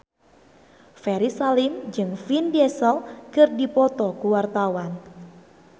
Ferry Salim jeung Vin Diesel keur dipoto ku wartawan